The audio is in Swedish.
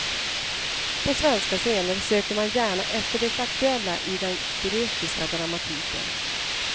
På svenska scener söker man gärna efter det aktuella i den grekiska dramatiken.